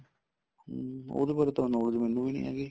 ਹਮ ਉਹਦੇ ਬਾਰੇ ਤਾਂ knowledge ਮੈਨੂੰ ਵੀ ਨੀਂ ਹੈਗੀ